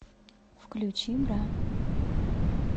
включи бра